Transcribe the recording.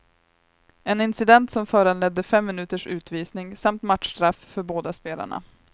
En incident som föranledde fem minuters utvisning samt matchstraff för båda spelarna.